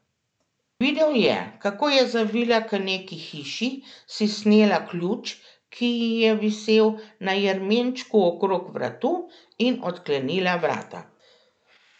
Videl je, kako je zavila k neki hiši, si snela ključ, ki ji je visel na jermenčku okrog vratu, in odklenila vrata.